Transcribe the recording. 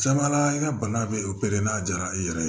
Caman la i ka bana bɛ opere n'a diyara i yɛrɛ ye